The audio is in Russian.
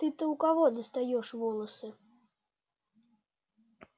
ты-то у кого достаёшь волосы